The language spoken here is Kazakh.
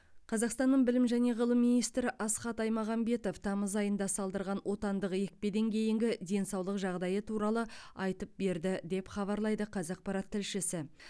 қазақстанның білім және ғылым министрі асхат аймағамбетов тамыз айында салдырған отандық екпеден кейінгі денсаулық жағдайы туралы айтып берді деп хабарлайды қазақпарат тілшісі